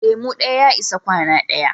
Lemu ɗaya ya isa kwana ɗaya